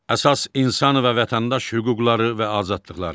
Əsas insan və vətəndaş hüquqları və azadlıqları.